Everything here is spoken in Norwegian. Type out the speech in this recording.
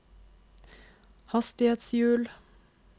hastighetshjul